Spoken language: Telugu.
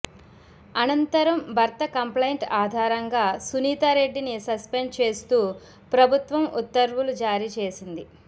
అనంతరం భర్త కంప్లైంట్ ఆధారంగా సునీతా రెడ్డిని సస్పెండ్ చేస్తూ ప్రభుత్వం ఉత్తర్వూలు జారీ చేసింది